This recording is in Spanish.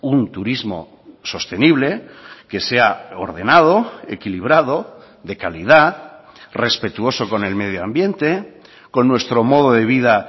un turismo sostenible que sea ordenado equilibrado de calidad respetuoso con el medio ambiente con nuestro modo de vida